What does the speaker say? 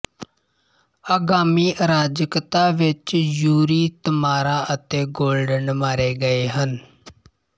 ਆਗਾਮੀ ਅਰਾਜਕਤਾ ਵਿੱਚ ਯੂਰੀ ਤਮਾਰਾ ਅਤੇ ਗੋਰਡਨ ਮਾਰੇ ਗਏ ਹਨ